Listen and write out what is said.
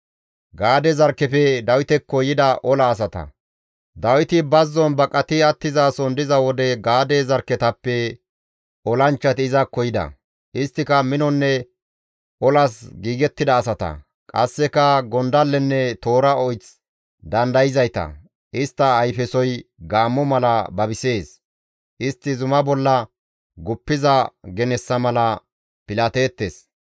Dawiti bazzon baqati attizason diza wode Gaade zarkketappe olanchchati izakko yida; isttika minonne olas giigettida asata; qasseka gondallenne toora oyth dandayzayta; istta ayfesoy gaammo mala babisees; istti zuma bolla guppiza genessa mala pilateettes.